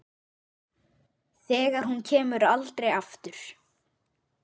Þegar hún kemur aldrei aftur.